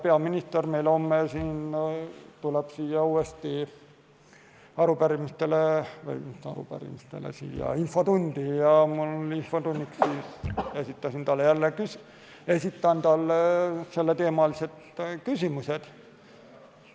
Peaminister tuleb homme siia infotundi ja ma esitan talle sellel teemal küsimused.